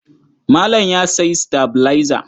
Malam ya sayi sitabilaiza.